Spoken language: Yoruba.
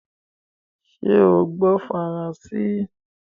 Sé o gbó faransé?